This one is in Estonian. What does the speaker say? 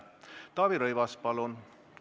Taavi Rõivas, palun!